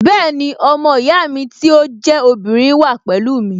Bẹ́ẹ̀ni, ọmọ ìyá mi tí ó jẹ́ obìnrin wà pẹ̀lú mi